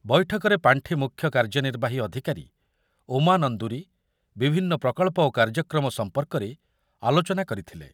ବୈଠକରେ ପାଣ୍ଠି ମୁଖ୍ୟ କାର୍ଯ୍ୟନିର୍ବାହୀ ଅଧିକାରୀ ଉମା ନନ୍ଦୁରୀ ବିଭନ୍ନ ପ୍ରକଳ୍ପ ଓ କାର୍ଯ୍ୟକ୍ରମ ସମ୍ପର୍କରେ ଆଲୋଚନା କରିଥିଲେ।